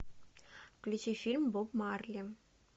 включи фильм боб марли